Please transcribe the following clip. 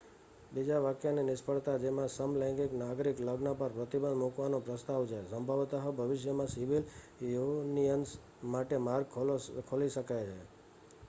બીજા વાક્યની નિષ્ફળતા, જેમાં સમલૈંગિક નાગરિક લગ્ન પર પ્રતિબંધ મૂકવાનો પ્રસ્તાવ છે, સંભવત: ભવિષ્યમાં સિવિલ યુનિયનસ માટે માર્ગ ખોલી શકે છે